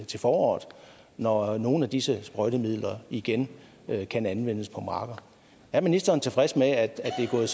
til foråret når nogle af disse sprøjtemidler igen kan anvendes på markerne er ministeren tilfreds med at det er gået